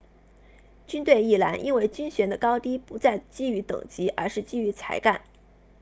军队亦然因为军衔的高低不再基于等级而是基于才干